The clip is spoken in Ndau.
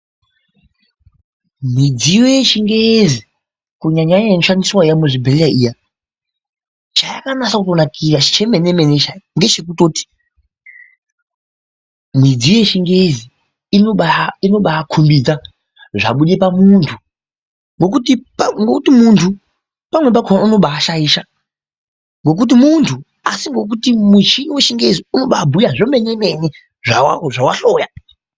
Midziyo yechingezi, kunyanya Iya inoshandiswa iyamuzvibhedhlera iya, chayakanyatsonakira zvemenemene zvayo ndechekutoti , midziyo yechingezi inobakumidza zvabude pamuntu , nokuti muntu unobashaisha nokuti muntu, asi nokuti michini wechingezi unobabuye zvemenemene zvawahlora.